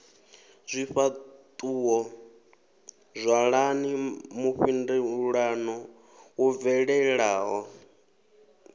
zwifhaṱuwo ṅwalani mufhindulano wo bvelelaho